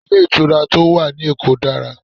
Ilé ìtura tí ó wà ní èkó dára